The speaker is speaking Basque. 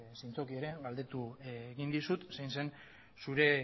zintzoki ere galdetu egin dizut zein zen zure